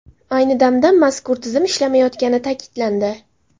Ayni damda mazkur tizim ishlamayotgani ta’kidlandi.